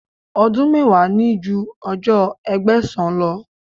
Ọdún mẹ́wàá ní ju ọjọ́ Ẹgbẹ̀sán lọ.